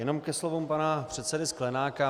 Jenom ke slovům pana předsedy Sklenáka.